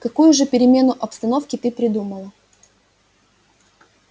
какую же перемену обстановки ты придумала